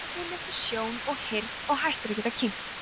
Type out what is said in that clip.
barnið missir sjón og heyrn og hættir að geta kyngt